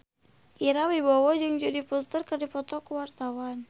Ira Wibowo jeung Jodie Foster keur dipoto ku wartawan